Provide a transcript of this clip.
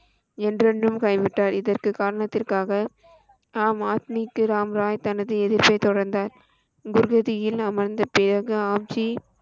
என்றென்றும் கை விட்டார் இதற்க்கு காரணத்திற்காக, ஆம் ஆத்மிக்கு ராம் ராய் தனது எதிர்ப்பை தொடர்ந்தார் குர் வீதியில் அமர்ந்த பிறகு ஆம்ஜி,